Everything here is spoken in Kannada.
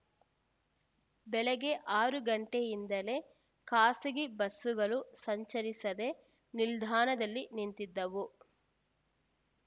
ಬೆಳಗ್ಗೆ ಆರು ಗಂಟೆಯಿಂದಲೇ ಖಾಸಗಿ ಬಸ್ಸುಗಳು ಸಂಚರಿಸದೆ ನಿಲ್ದಾಣದಲ್ಲಿ ನಿಂತಿದ್ದವು